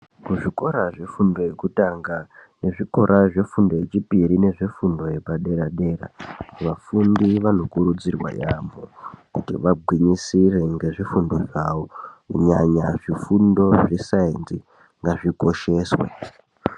Kuzvikora zvefundo yekutanga nezvikora zvefundo yechipiri nezvifundo zvepader dera vafundi vanokurudzirwa yaamho kuti vagwinyisire nezvifundo zvavo kunyanya zvifundo zvesainzi ngazvikosheswe .